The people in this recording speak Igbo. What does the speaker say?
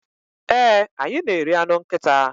ee, anyị na-eri anụ nkịta